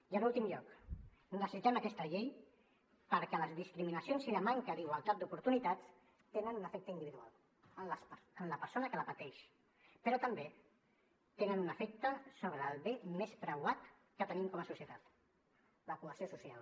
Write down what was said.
i en últim lloc necessitem aquesta llei perquè les discriminacions i la manca d’igualtat d’oportunitats tenen un efecte individual en la persona que la pateix però també tenen un efecte sobre el bé més preuat que tenim com a societat la cohesió social